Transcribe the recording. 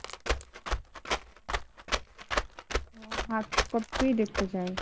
hard copy দেখতে চায়,